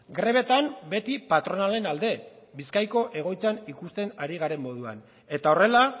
grebetan beti patronalen alde bizkaiko egoitzan ikusten ari garen moduan eta horrela